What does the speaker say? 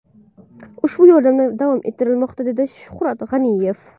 Ushbu yordamlar davom ettirilmoqda”, dedi Shuhrat G‘aniyev.